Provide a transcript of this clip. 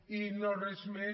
i no res més